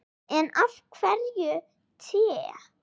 En af hverju te?